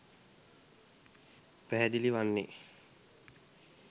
පැහැදිලි වන්නේ